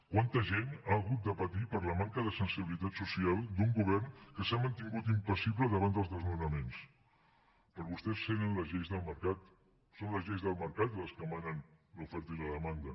quanta gent ha hagut de patir per la manca de sensibilitat social d’un govern que s’ha mantingut impassible davant dels desnonaments per vostès són les lleis del mercat les que manen l’oferta i la demanda